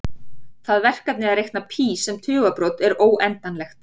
Það verkefni að reikna pí sem tugabrot er óendanlegt.